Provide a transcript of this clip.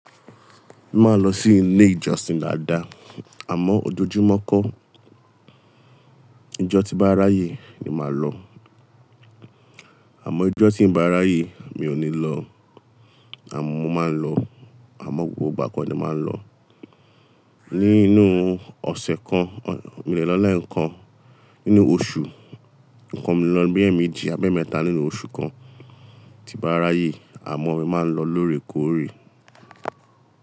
Máa n lọ sí ilé ìjọsìn dáadáa, àmọ́ ojoojúmọ́ kọ́, ijọ́ tí n bá ráyè ni màá lọ. Àmọ́ ijọ́ tí ìn bá ráyè mi ò ní lọ, àmọ́ mo máa ń lọ, àmọ́ gbogbo ìgbà kọ́ ni mo máa ń lọ. Nínú ọ̀sẹ̀ kan, mo le lọ lẹẹkan. Nínú oṣù kan mo le lọ bíi ẹ́ẹ̀mejì, ab'ẹẹ́mẹ́ta nínú oṣù kan tí n bá ráyè, àmọ́ mi máa ń lọ lóòrèkóòrè.